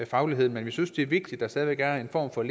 fagligheden men vi synes det er vigtigt at der stadig væk er en form for